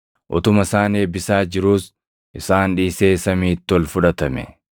Utuma isaan eebbisaa jiruus isaan dhiisee samiitti ol fudhatame.